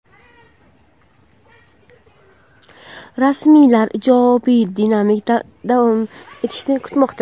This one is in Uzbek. Rasmiylar ijobiy dinamika davom etishini kutmoqda.